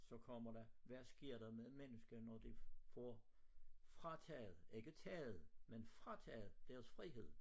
Så kommer der hvad sker der med mennesker når de får frataget ikke taget med frataget deres frihed